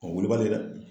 wulibali dɛ